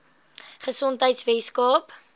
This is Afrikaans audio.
gesondheidweskaap